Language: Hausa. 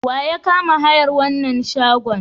Wa ya kama hayar wannan shagon?